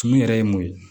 Tumu yɛrɛ ye mun ye